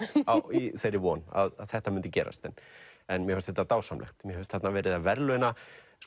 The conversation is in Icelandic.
í þeirri von að þetta myndi gerast en en mér fannst þetta dásamlegt mér fannst þarna verið að verðlauna